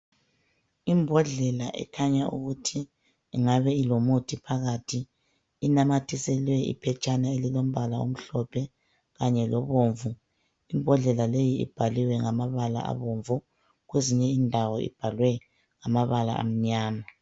Imbodlela ekhanya ukuthi ingabe ilomuthi phakathi inamathiselwe iphetshana elilombala omhlophe kanye lobomvu. Imbodlela leyi ibhaliwe ngamabala abomvu, kwezinye indawo ibhalwe ngamabala amnyama.